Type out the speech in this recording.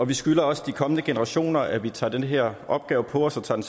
vi skylder også de kommende generationer at vi tager den her opgave på os og tager